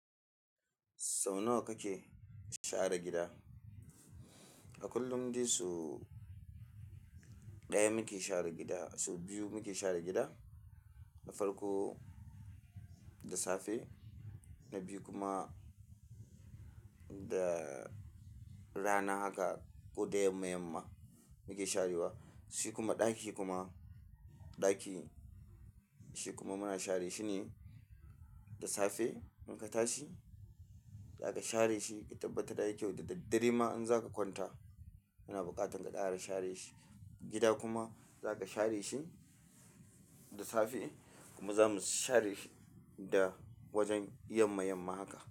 Sau nawa kake share gida? A kullum dai su ɗaya muke share gida, su biyu muke share gida. Na farko da safe na biyu kuma da rana haka ko da yamma-yamma muke sharewa. Shi kuma ɗaki kuma, ɗaki shi kuma muna share shi ne da safe in ka tashi za ka share shi. Ka tabbata da yake da daddare ma in za ka kwanta yana buƙatar ka ƙara share shi. Gida kuma za ka share shi da safe kuma za mu share shi da wajen yamma-yamma haka.